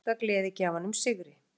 Hann spáir írska gleðigjafanum sigri.